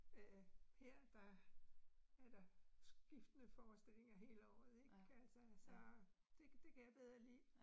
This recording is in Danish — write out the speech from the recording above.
Øh her der er der skiftende forestillinger hele året ik altså, så det det kan jeg bedre lide